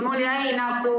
Palun!